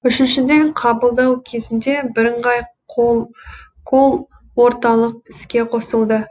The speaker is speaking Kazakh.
үшіншіден қабылдау кезінде бірыңғай колл орталық іске қосылды